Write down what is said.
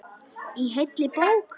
Í heilli bók.